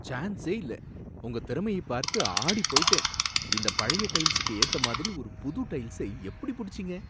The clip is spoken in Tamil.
சான்சே இல்ல! உங்க திறமையை பார்த்து ஆடிப் போயிட்டேன்! இந்த பழைய டைல்ஸுக்கு ஏத்த மாதிரி ஒரு புது டைல்ஸ எப்படி புடிச்சீங்க!